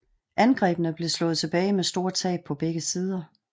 Angrebene blev slået tilbage med store tab på begge sider